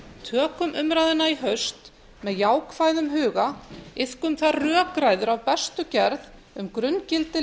tökum umræðuna í haust með jákvæðum huga iðkum þar rökræður af bestu gerð um grunngildi